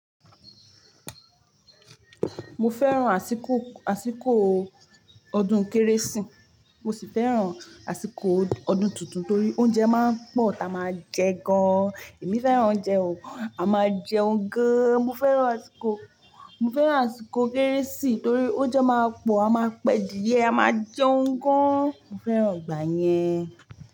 Mo fẹ́ràn àsìkò, àsìkò ọdún Kérésìmesì mo sì fẹ́ràn àsìkò ọdún tuntun torí oúnjẹ máa ń pọ̀ tá a máa jẹ gan. Èmi fẹ́ràn oúnjẹ o, a máa jẹun gan. Mo fẹ́ràn àsìkò, mo fẹ́ràn àsìkò Kérésìmesì torí oúnjẹ máa pọ̀, a máa pẹ dìé, a máa jẹun gan. Mo fẹ́ràn ìgbà yẹn.